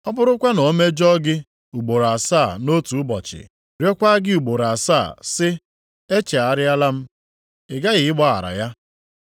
Ọ bụrụkwa na o mejọọ gị ugboro asaa nʼotu ụbọchị, rịọkwa gị ugboro asaa sị, ‘E chegharịala m,’ ị ghaghị ịgbaghara ya.”